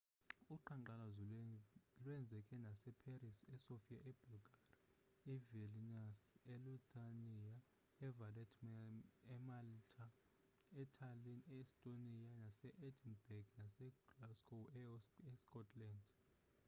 uqhankqalazo lweenzeka nase paris esofia ebulgaria evilnius elithuania evaletta emalta etallinn e-estonia nase-edinburgh naseglasgow escotland